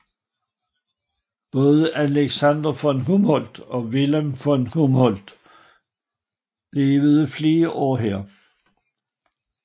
Både Alexander von Humboldt og Wilhelm von Humboldt levede flere år her